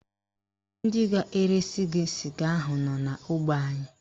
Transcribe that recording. Ndị ga-eresi gị sịga ahụ nọ n'ógbè anyị